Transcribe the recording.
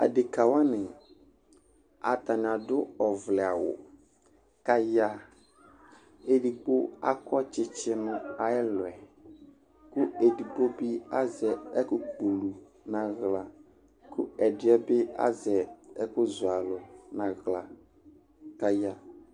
Adekǝ wanɩ Atanɩ adʋ ɔvlɛawʋ kʋ aya Edigbo akɔ tsɩtsɩ nʋ ayʋ ɛlʋ yɛ kʋ edigbo bɩ azɛ ɛkʋkpɔ ulu nʋ aɣla kʋ ɛdɩ bɩ azɛ ɛkʋzɔ alʋ nʋ aɣla kʋ aya